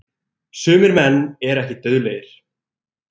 Sumir menn eru ekki dauðlegir.